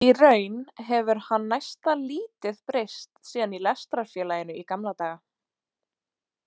Í raun hefur hann næsta lítið breyst síðan í lestrarfélaginu í gamla daga.